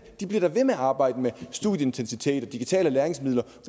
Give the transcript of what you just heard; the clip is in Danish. de bliver da ved med at arbejde med studieintensitet og digitale læringsmidler